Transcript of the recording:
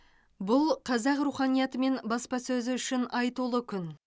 бұл қазақ руханияты мен баспасөзі үшін айтулы күн